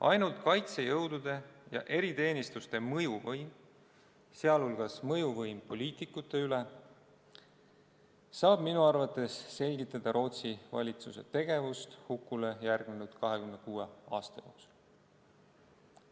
Ainult kaitsejõudude ja eriteenistuste mõjuvõimuga, sh mõjuvõimuga poliitikute üle, saab minu arvates selgitada Rootsi valitsuse tegevust hukule järgnenud 26 aasta jooksul.